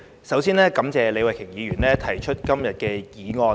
首先，感謝李慧琼議員動議今天這項議案。